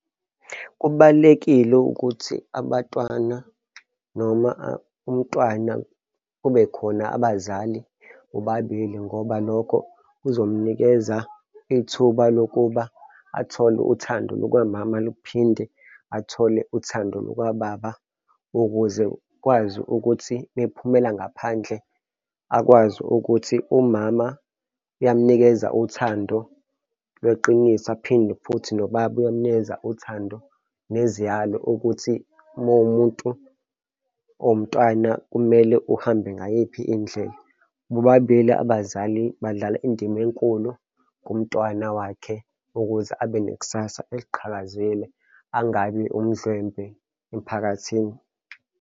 Kubalulekile ukuthi abatwana noma umntwana kube khona abazali bobabili ngoba lokho kuzomnikeza ithuba lokuba athole uthando lukamama luphinde athole uthando lukababa. Ukuze ukwazi ukuthi uma ephumela ngaphandle akwazi ukuthi umama uyamunikeza uthando lweqiniso aphinde futhi nobaba uyamunikeza uthando neziyalo ukuthi uma uwumuntu omntwana kumele uhambe ngayiphi indlela. Bobabili abazali badlala indima enkulu kumntwana wakhe ukuze abe nekusasa eliqhakazile, angabi umdlwembe emphakathini.